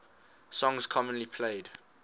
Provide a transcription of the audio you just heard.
songs commonly played